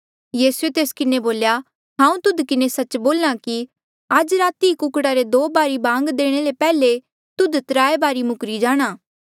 यीसूए तेस किन्हें बोल्या हांऊँ तुध किन्हें सच्च बोल्हा कि आज राती ई कुकड़ा रे दो बारी बांग देणे ले पैहले तुध त्राय बारी मुखरी जाणा